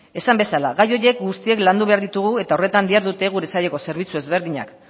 esan bezala gai horiek guztiak landu behar ditugu eta horretan dihardute gure saileko zerbitzu ezberdinak